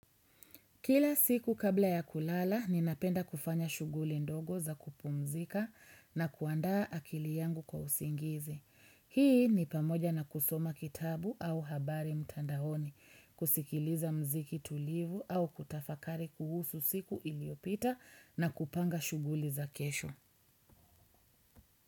Kila siku kabla ya kulala, ninapenda kufanya shughuli ndogo za kupumzika na kuanda akili yangu kwa usingizi. Hii ni pamoja na kusoma kitabu au habari mtandaoni, kusikiliza muziki tulivu au kutafakari kuhusu siku iliopita na kupanga shughuli za kesho.